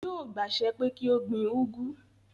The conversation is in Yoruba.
Yóò gbàsẹ pé kí ó gbin úgú